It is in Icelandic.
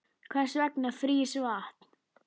Hvers vegna frýs vatn